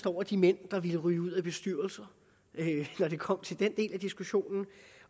over de mænd der ville ryge ud af bestyrelserne når det kom til den del af diskussionen